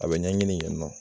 A be ɲɛɲini yen nɔ